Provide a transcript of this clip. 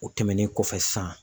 O tɛmɛnen kɔfɛ san.